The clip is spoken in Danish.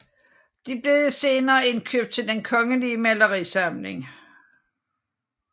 Det blev senere indkøbt til Den Kongelige Malerisamling